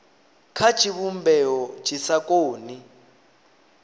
kha tshivhumbeo tshi sa koni